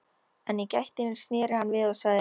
En í gættinni sneri hann við og sagði